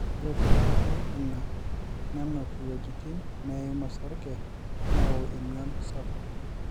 ore te nkaraki ina nenuk iwuejitin neim osarge neyau emion sapuk